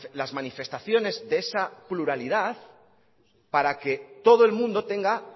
las manifestaciones de esa pluralidad para que todo el mundo tenga